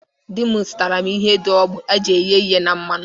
Di m zụtara m ihe dị ogbụ e ji ehe ihi n'ime mmanụ.